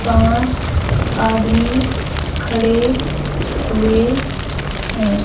पांच आदमी खड़े हुए हैं।